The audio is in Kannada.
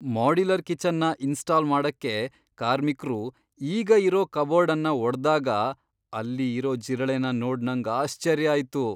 ಮಾಡ್ಯುಲರ್ ಕಿಚನ್ನ ಇನ್ಸ್ಟಾಲ್ ಮಾಡಕ್ಕೆ ಕಾರ್ಮಿಕ್ರು ಈಗ ಇರೋ ಕಬೋರ್ಡ್ ಅನ್ನ ಒಡ್ದಾಗ ಅಲ್ಲಿ ಇರೋ ಜಿರಳೆನ ನೋಡ್ ನಂಗ್ ಆಶ್ಚರ್ಯ ಆಯ್ತು.